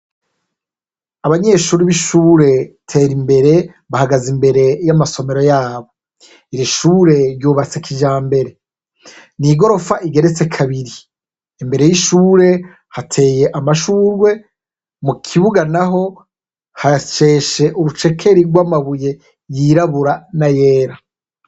Abanyeshure b'ishure Terimbere bahagaze imbere y'amasomero yabo, iri shure ryubatse kijambere, ni igorofa igeretse kabiri, imbere y'ishure hateye amashurwe mu kibuga naho hasheshe ubucekeri bw'amabuye yirabura n'ayera.